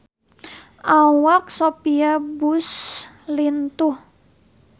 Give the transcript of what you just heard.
Awak Sophia Bush lintuh